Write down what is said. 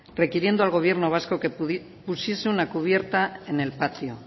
requiriendo al gobierno vasco que pusiese una cubierta en el patio